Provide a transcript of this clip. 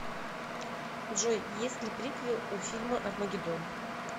джой есть ли приквел у фильма армагедон